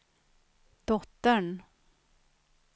dottern